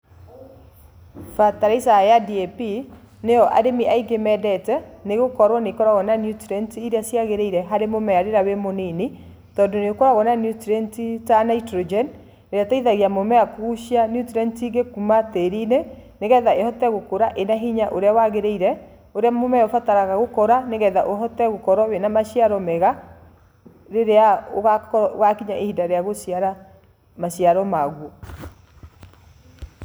Fertilizer ya DAP nĩyo arĩmi aingĩ mendete, nĩgũkorwo nĩĩkoragwo na nutrients iria ciagĩrĩire harĩ mũmera rĩrĩa wĩ mũnini, tondũ nĩũkoragwo na nutrients ta nitrogen, ĩrĩa ĩteithagia mũmera kũgucia nutrients ĩngĩ kuma tĩri-inĩ, nĩgetha ĩhote gũkũra ĩna hĩnya ũrĩa wagĩrĩire, ũrĩa mũmera ũbataraga gũkũra nĩgetha ũhote gũkorwo wĩna na maciaro mega, rĩrĩa ũgakinya ihinda rĩa gũciara maciaro maguo.